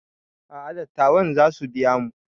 A'a dattawan zasu biya mu